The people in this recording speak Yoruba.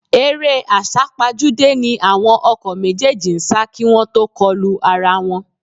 Eré àsápajúdé ni àwọn ọkọ̀ méjèèjì ń sá kí wọ́n tó kọlu ara wọn